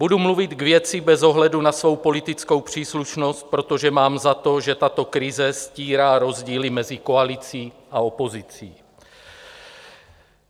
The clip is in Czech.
Budu mluvit k věci bez ohledu na svou politickou příslušnost, protože mám za to, že tato krize stírá rozdíly mezi koalicí a opozicí.